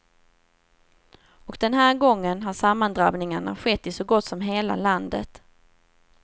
Och den här gången har sammandrabbningarna skett i så gott som hela landet.